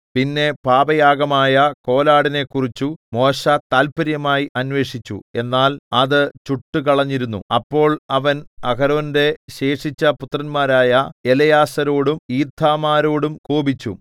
പിന്നെ പാപയാഗമായ കോലാടിനെക്കുറിച്ചു മോശെ താത്പര്യമായി അന്വേഷിച്ചു എന്നാൽ അത് ചുട്ടുകളഞ്ഞിരുന്നു അപ്പോൾ അവൻ അഹരോന്റെ ശേഷിച്ച പുത്രന്മാരായ എലെയാസാരോടും ഈഥാമാരോടും കോപിച്ചു